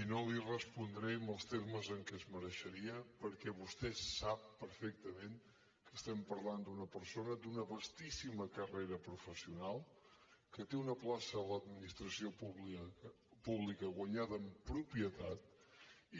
i no li respondré en els termes que es mereixeria perquè vostè sap perfectament que estem parlant d’una persona d’una vastíssima carrera professional que té una plaça a l’administració pública guanyada en propietat